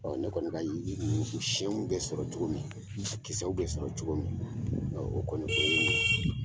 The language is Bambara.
Ne kɔni ka yiri siɲɛnw bɛ sɔrɔ cogo min , kisɛw bɛ sɔrɔ cogo min ɔ o kɔni ye nin ye.